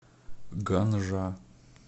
ганжа